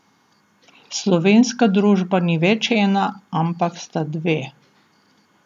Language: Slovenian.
Slovenska družba ni več ena, ampak sta dve.